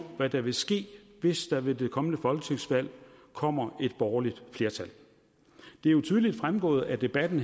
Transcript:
hvad der vil ske hvis der ved det kommende folketingsvalg kommer et borgerligt flertal det er jo tydeligt fremgået af debatten